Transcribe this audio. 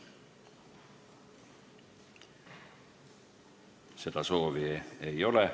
Seda soovi ei ole.